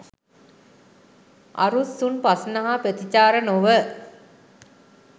අරුත්සුන් ප්‍රශ්න හා ප්‍රතිචාර නොව